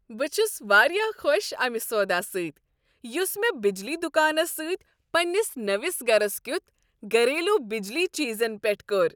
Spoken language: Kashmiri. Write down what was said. بہٕ چھس واریاہ خوش امہ سودا سۭتۍ یس مےٚ بجلی دکانس سۭتۍ پننس نٔوس گرس کیُتھ گھریلو بجلی چیزن پیٹھ کوٚر۔